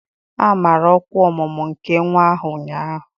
A mara ọkwa ọmụmụ nke nwa ahụ ụnyaahụ